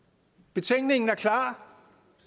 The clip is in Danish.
betænkningen er klar